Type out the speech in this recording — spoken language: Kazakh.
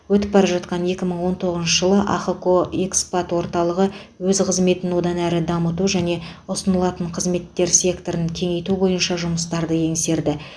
өтіп бара жатқан екі мың он тоғызыншы жылы ахқо экспат орталығы өз қыметін одан әрі дамыту және ұсынылатын қызметтер спекторын кеңейту бойынша жұмыстарды еңсерді